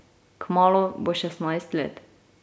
Kmalu bo šestnajst let.